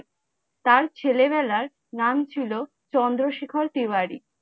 তার ছেলে বেলায় নাম ছিলো, চন্দ্রশেখর তিওয়ারি ।